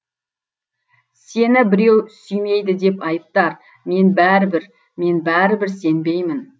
сені біреу сүймейді деп айыптар мен бәрібір мен бәрібір сенбеймін